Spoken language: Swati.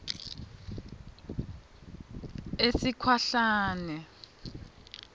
esikhwahlane